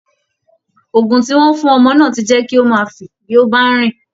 Ògùn tí wọ́n fún ọmọ náà ti jẹ́ kí ó máa fì bí ó bá ń rìn